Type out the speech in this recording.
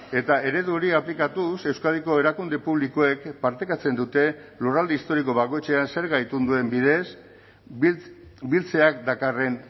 eta eredu hori aplikatuz euskadiko erakunde publikoek partekatzen dute lurralde historiko bakoitzean zerga itunduen bidez biltzeak dakarren